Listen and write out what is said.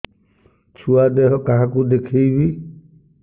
ଛୁଆ ଦେହ କାହାକୁ ଦେଖେଇବି